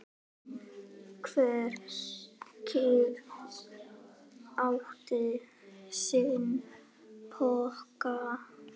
Hver kýr átti sinn poka.